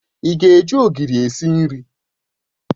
Ị ga-eji Ogiri esi nri?